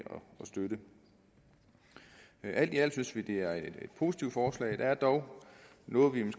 støtte det alt i alt synes vi det er et positivt forslag men der er dog noget